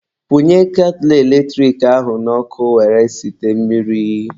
Kwunye ketụlụ eletrik ahụ n'ọkụ were site mmiri.